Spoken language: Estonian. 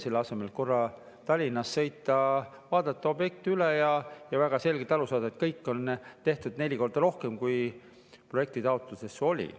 Selle asemel, et korra Tallinnast sõita, vaadata objekt üle ja väga selgelt aru saada, et kõike on tehtud neli korda rohkem, kui projektitaotluses oli.